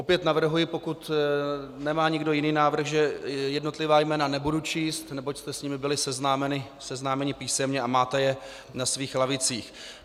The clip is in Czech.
Opět navrhuji, pokud nemá nikdo jiný návrh, že jednotlivá jména nebudu číst, neboť jste s nimi byli seznámeni písemně a máte je na svých lavicích.